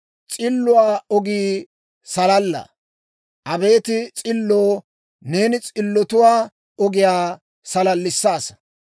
S'illotuwaa ogii salalaa. Abeet S'illoo, neeni s'illotuwaa ogiyaa salallissaasa.